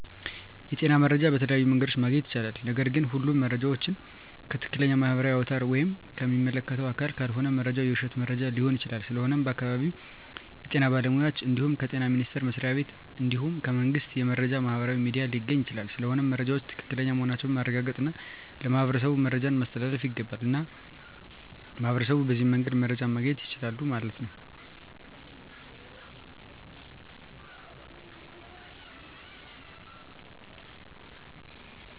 የጤና መረጃ በተለያዮ መንገድ ማግኘት ይቻላል ነገርግ ሁሉም መረጃ ዎችን ከትክለኛ ማህበራዊ አውታር ወይም ከሚመለከተው አካል ካልሆነ መረጃው የውሽት መረጃ ሊሆን ይችላል ስለሆነም ከአካባቢው የጤና ባለሙያ እንድሁም ከጤና ሚኒስተር መስሪያ ቤት እንድሁም ከመንግስት የመረጃ ማህበራዊ ሚዲያ ሊገኝ ይቻላል ስለሆነም መረጃወች ትክክለኛ መሆናቸውን ማረጋገጥ እና ለማህበረሠቡ መረጃን ማስተላለፍ ይገባል። እና ሚህበረሸቡ በዚህ መንገድ መረጃ ማገኘት ይችላሉ ማለት ነው